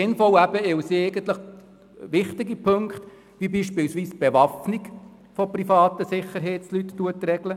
Sie ist sinnvoll, weil sie wichtige Punkte, wie etwa die Bewaffnung privater Sicherheitsleute, regelt.